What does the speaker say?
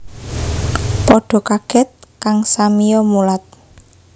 Padha kaget kang samiya mulat